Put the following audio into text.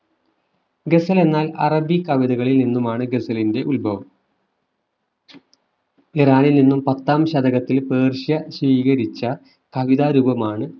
ഗസൽ എന്നാൽ അറബി കവിതകളിൽ നിന്നുമാണ് ഗസലിന്റെ ഉത്ഭവ ഇറാനിൽ നിന്നും പത്താം ശതകത്തിൽ പേർഷ്യ സ്വീകരിച്ച കവിത രൂപമാണ്